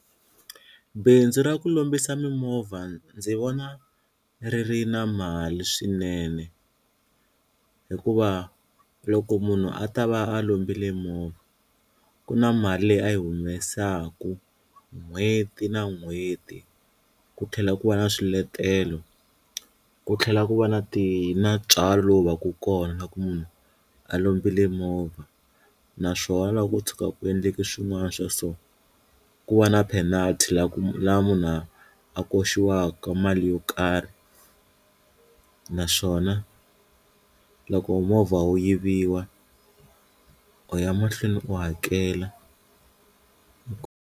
Bindzu ra ku lombisa mimovha ndzi vona ri ri na mali swinene hikuva loko munhu a ta va a lombile movha ku na mali leyi a yi humesaku n'hweti na n'hweti, ku tlhela ku va na swiletelo ku tlhela ku va na ti na ntswalo lowu va ku kona na ku munhu a lombile movha naswona loko ko tshuka ku endleke swin'wana swa so, ku va na penalty la ku laha munhu a a koxiwaka mali yo karhi naswona loko movha wu yiviwa u ya mahlweni u hakela.